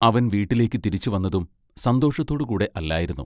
അവൻ വീട്ടിലേക്ക് തിരിച്ചുവന്നതും സന്തോഷത്തോടുകൂടെ അല്ലായിരുന്നു.